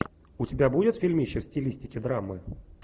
у тебя будет фильмище в стилистике драмы